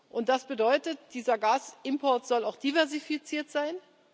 Und das bedeutet, dieser Gasimport soll auch diversifiziert sein.